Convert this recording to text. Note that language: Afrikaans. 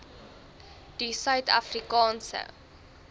die suid afrikaanse